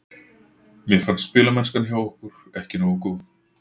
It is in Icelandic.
Mér fannst spilamennskan hjá okkur ekki nógu góð.